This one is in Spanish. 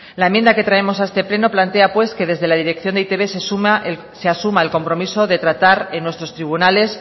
la enmienda que traemos a este pleno plantea que desde la dirección de e i te be se asuma el compromiso de tratar en nuestros tribunales